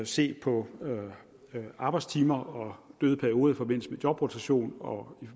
se på arbejdstimer og døde perioder i forbindelse med jobrotation og